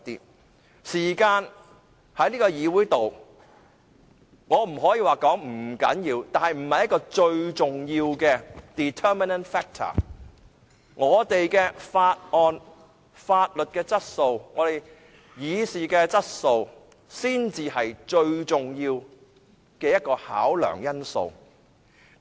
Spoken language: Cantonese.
我不可以說時間在這個議會內不重要，但這不是一個最重要的因素，我們審議法案的質素才是最重要的考量因素。